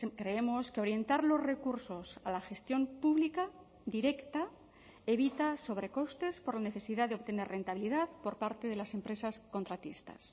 creemos que orientar los recursos a la gestión pública directa evita sobrecostes por la necesidad de obtener rentabilidad por parte de las empresas contratistas